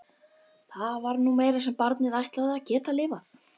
Það var nú meira sem barnið ætlaði að geta lifað.